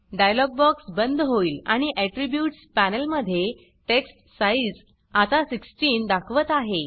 dialogue box बंद होईल आणि आट्रिब्यूट्स पॅनल मध्ये टेक्स्ट साइज़ आता 16 दाखवत आहे